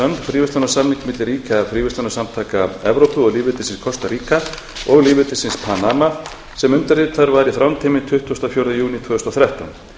fríverslunarsamning milli ríkja fríverslunarsamtaka evrópu og lýðveldisins kostaríka og lýðveldisins panama sem undirritaður var í þrándheimi tuttugasta og fjórða júní tvö þúsund og þrettán